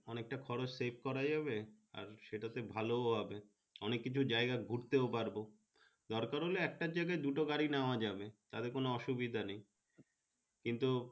অনেকটা খরচ saved করা যাবে সেটা তে ভালো হবে অনেক কিছু জায়গা ঘুরতেও পারবো দরকার হলে একটা জায়গা দুটো গাড়ি নেওয়া যাবে তাতে কোনো অসুবিধা নেই কিন্তু।